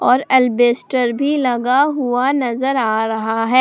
और एलबस्टर भी लगा हुआ नजर आ रहा है।